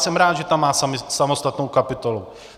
Jsem rád, že sport má samostatnou kapitolu.